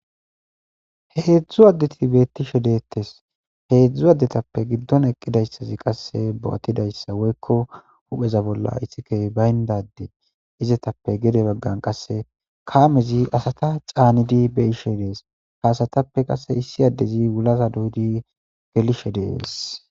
heedzdzu addeti beettishe deettes heedzdzu addetappe giddon eqqidayssazi qasse bo7atidayssa woykko hupheza bolla isike bayndade izetappe gede baggan qasse kaamezi asata caanidi be ishe dees haasatappe qase issi addezi wulaza duudi gelishe dees